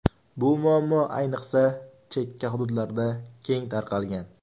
Bu muammo ayniqsa chekka hududlarda keng tarqalgan.